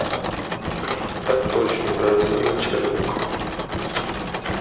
так точно гражданин начальник